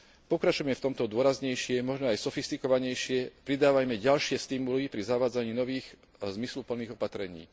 Pokračujme v tomto dôraznejšie, možno aj sofistikovanejšie, pridávajme ďalšie stimuly pri zavádzaní nových a zmysluplných opatrení.